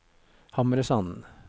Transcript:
Hamresanden